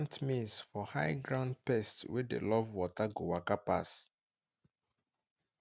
plant maize for high ground pests wey dey love water go waka pass